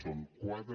són quatre